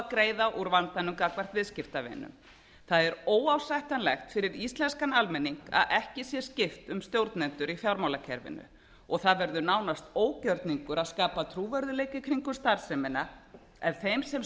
að greiða úr vandanum gagnvart viðskiptavinum það er óásættanlegt fyrir íslenskan almenning að ekki sé skipt um stjórnendur í fjármálakerfinu og það verður nánast ógjörningur að skapa trúverðugleika í kringum starfsemina ef þeim sem